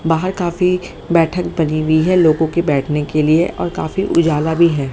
बाहर काफी बैठक बनी हुई है लोगों के बैठने के लिए और काफी उजाला भी है।